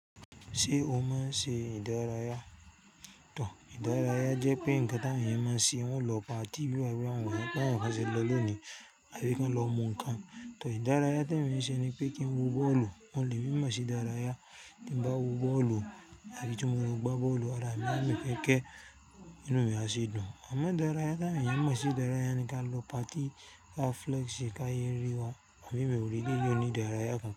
Ṣé o máa ń ṣe ìdárayá? Tò, ìdárayá jẹ́ pé ǹkan tí àwọn èèyàn máa ń ṣe, wọ́n lọ party, bí àwọn ọ̀rẹ́ wọn wà, bá àwọn ọ̀rẹ́ wọn ṣe lọ lónìí, àbí kí wọ́n lọ mu ǹkan. Tò, ìdárayá tí èmi ń ṣe ni pé kí n wo bọ́ọ̀lù, wọ́n le mọ̀ sí dárayá tí ń bá wo bọ́ọ̀lù àbí tí mo lọ gbá bọ́ọ̀lù, ara mi máa ń fẹ́kẹ́, inú mi a sì dùn. Àmọ́ ìdárayá tí àwọn èèyàn mọ̀ sí dárayá ni kí a lọ party, kí a flex kí a yé rí wa àbí ìwòríkí, èyí ò ní ìdárayá kan.